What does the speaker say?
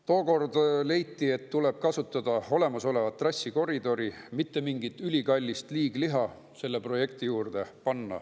Tookord leiti, et tuleb kasutada olemasolevat trassikoridori, mitte mingit ülikallist liigliha selle projekti juurde panna.